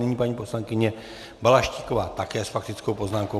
Nyní paní poslankyně Balaštíková také s faktickou poznámkou.